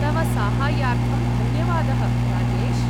तव साहाय्यार्थं धन्यवादः, राजेश।